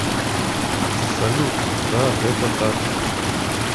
салют да это так